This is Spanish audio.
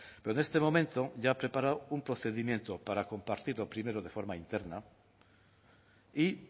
pero en este momento ya ha preparado un procedimiento para compartirlo primero de forma interna y